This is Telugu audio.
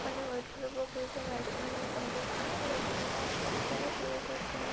అన్ని వైట్ కలర్ బాక్సస్ మాక్సిమం మనకు కనిపిస్తున్నాయి అక్కడ అయితే తను మాస్ పెట్టుకొని --